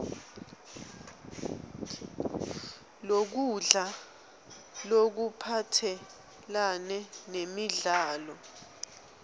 lokudla lokuphathelane nemidlo